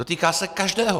Dotýká se každého!